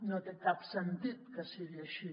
no té cap sentit que sigui així